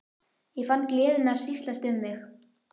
Ég fann gleðina hríslast um mig.